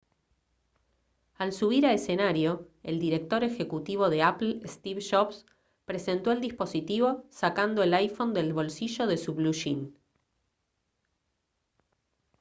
al subir a escenario el director ejecutivo de apple steve jobs presentó el dispositivo sacando el iphone del bolsillo de su bluyín